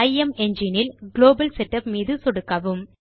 இமெங்கினே இல் global setup மீது சொடுக்கவும்